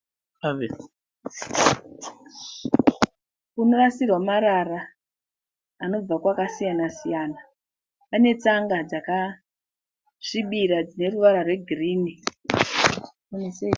Munorasirwa marara anobva kwakasiyana-siyana. Panetsanga dzakasvibira dzineruvara rwegirini.